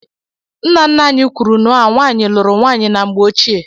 Nna nna anyị kwuru nua nwaanyị lụrụ nwaanyị na mgbe ochie.